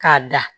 K'a da